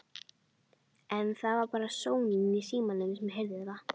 En það var bara sónninn í símanum sem heyrði það.